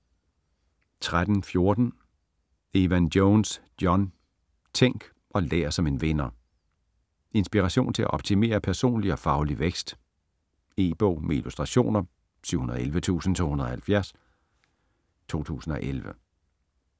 13.14 Evan-Jones, John: Tænk og lær som en vinder Inspiration til at optimere personlig og faglig vækst. E-bog med illustrationer 711270 2011.